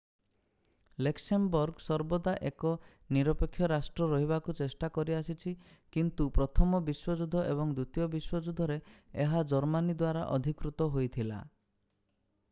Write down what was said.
Luxembourg ସର୍ବଦା ଏକ ନିରପେକ୍ଷ ରାଷ୍ଟ୍ର ରହିବାକୁ ଚେଷ୍ଟା କରିଆସିଛି କିନ୍ତୁ ପ୍ରଥମ ବିଶ୍ଵଯୁଧ୍ୟ ଏବଂ ଦ୍ଵିତୀୟ ବିଶ୍ଵଯୁଧ୍ୟରେ ଏହା ଜର୍ମାନୀ ଦ୍ଵାରା ଅଧିକୃତ ହୋଇଥିଲା